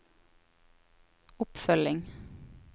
oppfølging